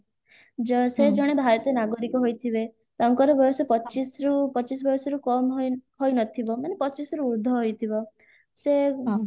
ଯ ସେ ଜଣେ ଭାରତୀୟ ନାଗରିକ ହୋଇଥିବେ ତାଙ୍କର ବୟସ ପଚିଶରୁ ପଚିଶ ବୟସରୁ କମ ହୋଇ ହୋଇନଥିବ ମାନେ ପଚିଶରୁ ଉର୍ଦ୍ଧ ହୋଇଥିବ ସେ